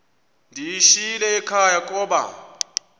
ndiyishiyile ekhaya koba